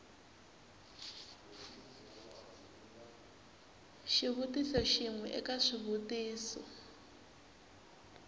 xivutiso xin we eka swivutiso